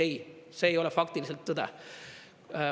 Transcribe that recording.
Ei, see ei ole faktiliselt tõde.